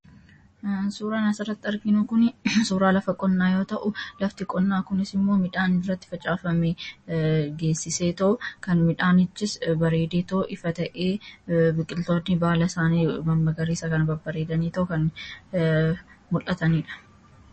suuraa sanarratti arginuu kun suuraa lafa qonnaa yoo ta'u lafti qonnaa kunis immoo midhaan irratti facaafame geessisee ta'o kan midhaanichis bareedetoo ifa ta'ee biqiltootni baalaa isaanii mammagariisa ka bareedanii ta'o kan mul'ataniidha